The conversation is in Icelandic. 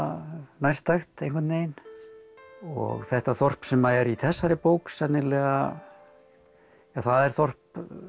nærtækt einhvern veginn og þetta þorp sem er í þessari bók sennilega það er þorp